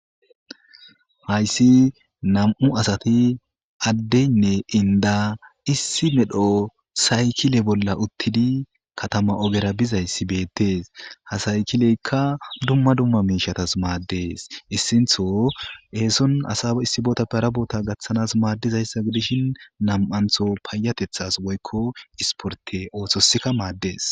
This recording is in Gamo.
Hayisi nam'u asati Aaden enda issi medho sayikile bola utidi katama ogera bizayisi betes ha sayikileka dumma dumma miishshatas mades issinto eson asawo issi botappe hara bota gatanas madezayisa gidishen nam'anto payatetas woykko esporte otosika mades.